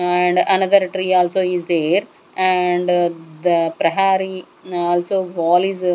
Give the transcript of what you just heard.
and another tree also is there and the prahari also wall is.